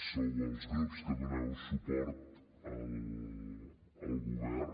sou els grups que doneu suport al govern